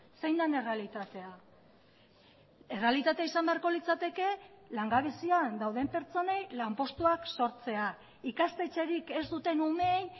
zein den errealitatea errealitatea izan beharko litzateke langabezian dauden pertsonei lanpostuak sortzea ikastetxerik ez duten umeei